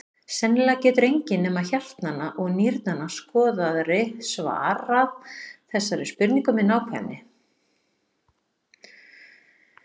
Sennilega getur enginn nema hjartnanna og nýrnanna skoðari svarað þessari spurningu með nákvæmni.